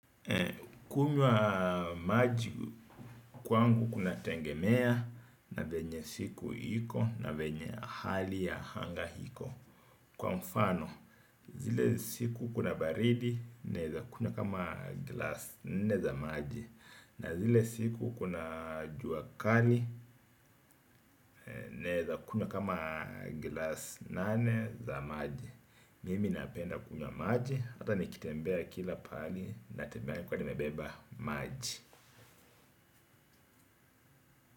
Kunywa maji kwangu kunatengemea na venye siku iko na venye hali ya hanga hiko. Kwa mfano zile siku kuna baridi naeza kunywa kama glass nne za maji. Na zile siku kuna jua kali naeza kunywa kama glass nane za maji. Mimi napenda kunywa maji hata nikitembea kila paali natembea nikiwa nimebeba maji.